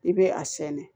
I bɛ a sɛnɛn